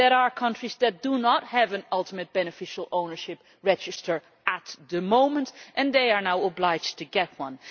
There are countries that do not have an ultimate beneficiary ownership register at the moment and they are now obliged to have one.